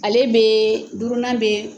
Ale bɛ duurunan bɛ